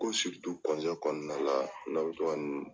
Ko kɔnɔna la n'a bi to ka nin